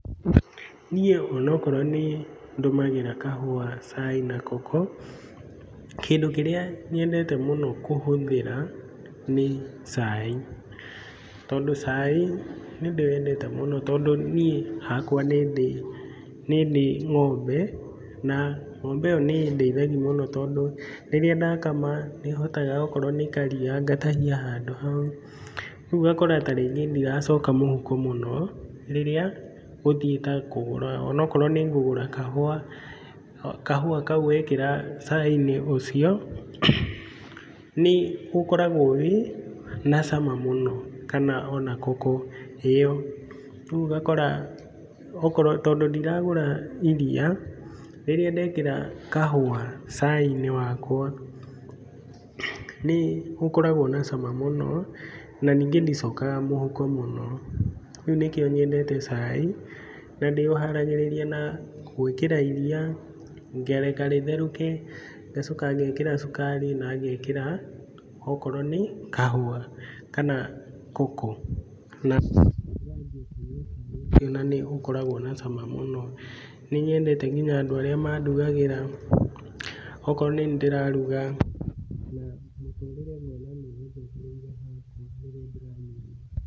Niĩ ona okorwo nĩ ndũmagĩra kahũa, cai na koko, kĩndũ kĩrĩa nyendete mũno kũhũthĩra, nĩ cai. Tondũ cai nĩ ndĩwendete mũno tondũ niĩ hakwa nĩ ndĩ, nĩ ndĩ ng'ombe, na ng'ombe ĩyo nĩ ĩndeithagia mũno tondũ rĩrĩa ndakama, nĩ hotaga okorwo nĩ karia ngatahia handũ hau, rĩu ũgakora ta rĩngĩ ndiracoka mũhuko mũno, rĩrĩa ngũthiĩ ta kũgũra, onokorwo nĩ ngũgũra kahũa, kahũa kau wekĩra cai-inĩ ũcio, nĩ ũkoragwo wĩ na cama mũno, kana o na koko ĩyo. Rĩu ũgakora okorwo, tondũ ndiragũra iria, rĩrĩa ndekĩra kahũa cai-inĩ wakwa, nĩ ũkoragwo na cama mũno, na ningĩ ndicokaga mũhuko mũno. Rĩu nĩkio nyendete cai na ndĩ ũharagĩria na gwĩkĩra iria, ngareka rĩtherũke, ngacoka ngekĩra cukari na ngekĩra okorwo nĩ kahũa kana koko na na nĩ ũkoragwo na cama mũno. Nĩ nyendete nginya andũ arĩa mandugagĩra, okorwo nĩ niĩ ndĩraruga,